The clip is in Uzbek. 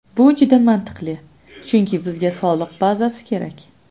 Bu juda mantiqli, chunki bizga soliq bazasi kerak.